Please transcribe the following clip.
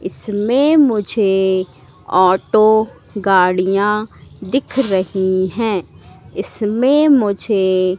इसमें मुझे ऑटो गाड़ियां दिख रही हैं इसमें मुझे--